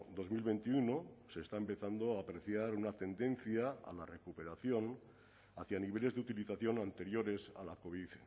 dos mil veintiuno se está empezando a apreciar una tendencia a la recuperación hacia niveles de utilización anteriores a la covid